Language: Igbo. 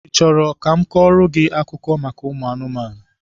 I chọrọ ka m kọọrọ gị akụkọ maka ụmụ anụmanụ?